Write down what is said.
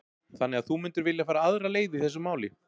Þannig að þú myndir vilja fara aðra leið í þessu máli?